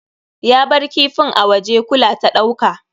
Ya bar kifin a waje, kula ta ɗauka.